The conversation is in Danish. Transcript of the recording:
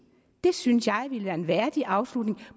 det synes jeg ville være en værdig afslutning